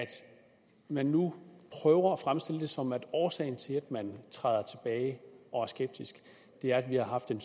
man nu prøver at fremstille det som om årsagen til at man træder tilbage og er skeptisk er at vi har haft en